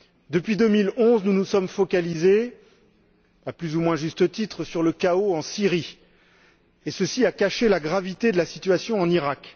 Depuis 2011, nous nous sommes focalisés, à plus ou moins juste titre, sur le chaos en Syrie et ceci a caché la gravité de la situation en Iraq.